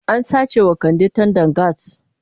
An sace wa Kande tandan gas.